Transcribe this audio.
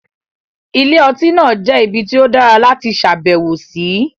Ilé-ọtí náà jẹ́ ibi tí ó dára láti ṣàbẹ̀wò sí.